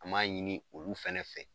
An ma ɲini olu fɛnɛ fɛ